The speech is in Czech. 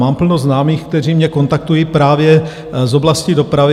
Mám plno známých, kteří mě kontaktují, právě z oblasti dopravy.